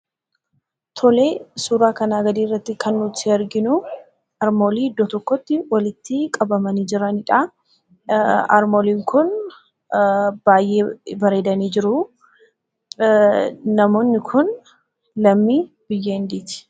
Suuraa kanaa gadiirratti kan nuti arginuu harmoolii iddoo tokkotti walitti qabamanii jiranidhaa. Harmooliin kun baay'ee bareedanii jiruu. Namoonni kun lammii biyya Hindiiti.